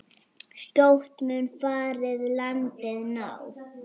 Skjótt mun farið landi ná.